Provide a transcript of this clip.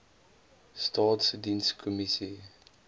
staatsdienskommissie